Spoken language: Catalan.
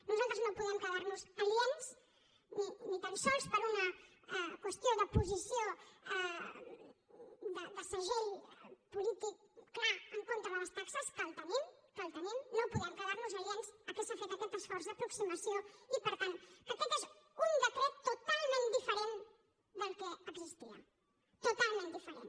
nosaltres no podem quedar nos aliens ni tan sols per una qüestió de posició de segell polític clar en contra de les taxes que el tenim que el tenim no podem quedar nos aliens al fet que s’ha fet aquest esforç d’aproximació i per tant que aquest és un decret totalment diferent del que existia totalment diferent